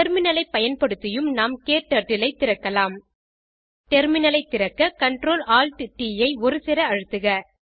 terminal ஐ பயன்படுத்தியும் நாம் க்டர்ட்டில் ஐ திறக்கலாம் டெர்மினல் ஐ திறக்க CTRLALTT ஐ ஒருசேர அழுத்துக